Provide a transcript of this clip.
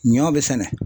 Ɲɔ be sɛnɛ